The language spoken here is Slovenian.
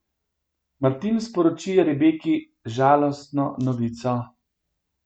Martin sporoči Rebeki žalostno novico.